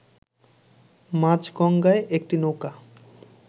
মাঝগঙ্গায় একটি নৌকা